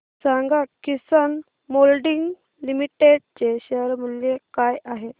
सांगा Kisan moulding limited चे share मूल्य काय आहे